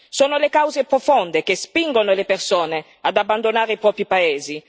Sono le cause profonde che spingono le persone ad abbandonare i propri paesi.